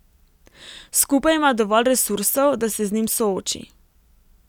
Skupaj ima dovolj resursov, da se z njim sooči.